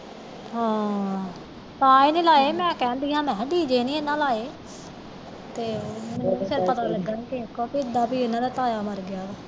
ਹਾਂ ਤਾਹੀ ਨਹੀਂ ਲਾਏ ਮੈਂ ਕਹਿੰਦੀ ਆ ਇਹਨਾਂ ਨੇ ਡੀਜੇ ਨਹੀਂ ਇਹਨਾਂ ਲਾਏ ਤੇ ਮੈਨੂੰ ਫਿਰ ਪਤਾ ਲਗਾ ਕਿਹੋ ਕਿ ਇਹਨਾਂ ਦਾ ਤਾਇਆ ਮਰ ਗਿਆ ਵਾ